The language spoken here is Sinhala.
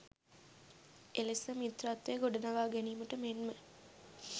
එලෙස මිත්‍රත්වය ගොඩනගා ගැනීමට මෙන්ම